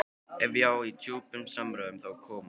Ef ég á í djúpum samræðum, þá koma þeir.